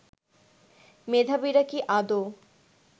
মেধাবীরা কি আদো